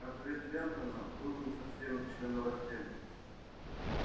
ответ лентона был не совсем членораздельным